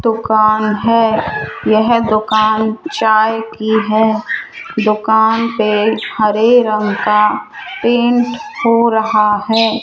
दुकान है यह दुकान चाय की है दुकान पे हरे रंग का पेंट हो रहा है।